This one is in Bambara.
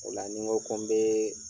O la ni n ko ko n bɛ